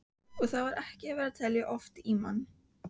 Og þar var ekki verið að telja ofan í mann.